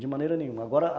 De maneira nenhuma, agora...